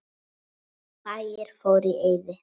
Bæir fóru í eyði.